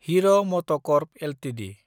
हेर मतकर्प एलटिडि